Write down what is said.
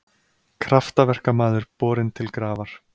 Kraftaverkamaður borinn til grafar